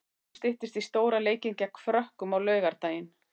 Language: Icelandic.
Óðum styttist í stóra leikinn gegn Frökkum á laugardaginn.